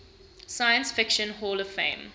science fiction hall of fame